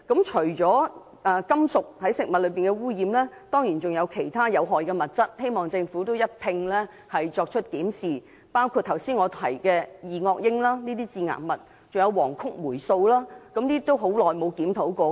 除了食物中的金屬污染外，當然還有其他有害的物質，希望政府能一併檢視，包括我剛才提到的二噁英等致癌物，還有黃曲霉素等，已很久沒有作出檢討。